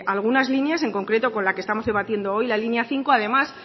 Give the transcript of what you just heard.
algunas líneas en concreto con la que estamos debatiendo hoy la línea cinco además